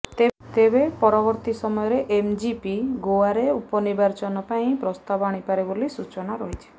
ତେବେ ପରବର୍ତ୍ତୀ ସମୟରେ ଏମ୍ଜିପି ଗୋଆରେ ଉପନିର୍ବାଚନ ପାଇଁ ପ୍ରସ୍ତାବ ଆଣିପାରେ ବୋଲି ସୂଚନା ରହିଛି